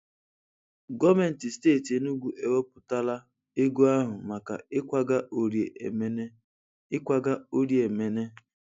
Gọọmenti steeti Enugwu ewepụtala ego ahụ maka ịkwaga Orie Emene. ịkwaga Orie Emene.